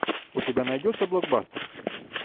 у тебя найдется блокбастер